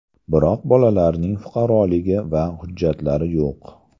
Biroq bolalarning fuqaroligi va hujjatlari yo‘q.